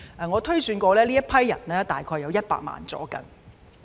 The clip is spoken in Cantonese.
我推算過，他們約有100萬人。